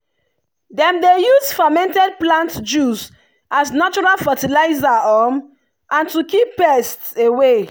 dem dey use fermented plant juice as natural fertilizer um and to keep pests away.